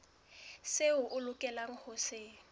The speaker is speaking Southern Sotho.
seo o lokelang ho se